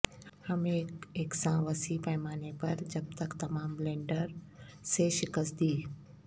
ہم ایک یکساں وسیع پیمانے پر جب تک تمام بلینڈر سے شکست دی